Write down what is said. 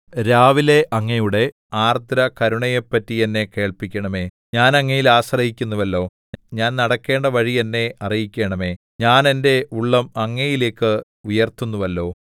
രാവിലെ അങ്ങയുടെ ആർദ്രകരുണയെപ്പറ്റി എന്നെ കേൾപ്പിക്കണമേ ഞാൻ അങ്ങയിൽ ആശ്രയിക്കുന്നുവല്ലോ ഞാൻ നടക്കേണ്ട വഴി എന്നെ അറിയിക്കണമേ ഞാൻ എന്റെ ഉള്ളം അങ്ങയിലേക്ക് ഉയർത്തുന്നുവല്ലോ